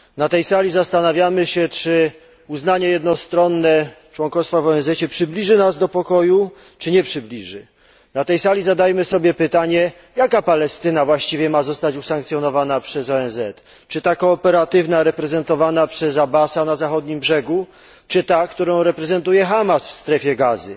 Na tej sali zastanawiamy się, czy jednostronne uznanie członkostwa w ONZ przybliży nas do pokoju czy nie przybliży. Na tej sali zadajmy sobie pytanie, jaka Palestyna właściwie ma zostać usankcjonowana przez ONZ czy ta kooperatywna, reprezentowana przez Abbasa na Zachodnim Brzegu, czy ta, którą reprezentuje Hamas w Strefie Gazy?